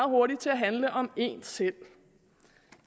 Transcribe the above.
hurtigt til at handle om en selv